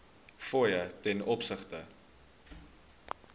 fooie ten opsigte